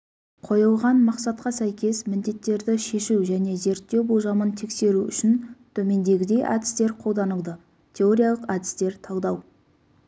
қойылған мақсатқа сәйкес міндеттерді шешу және зерттеу болжамын тексеру үшін төмендегідей әдістер қолданылды теориялық әдістер талдау